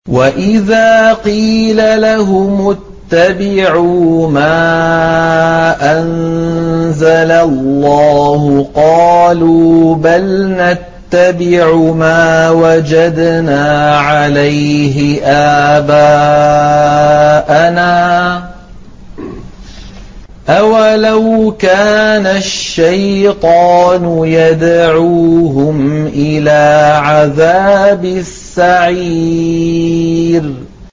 وَإِذَا قِيلَ لَهُمُ اتَّبِعُوا مَا أَنزَلَ اللَّهُ قَالُوا بَلْ نَتَّبِعُ مَا وَجَدْنَا عَلَيْهِ آبَاءَنَا ۚ أَوَلَوْ كَانَ الشَّيْطَانُ يَدْعُوهُمْ إِلَىٰ عَذَابِ السَّعِيرِ